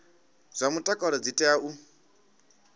zwa mutakalo dzi tea u